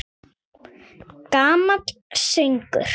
Gamall söngur!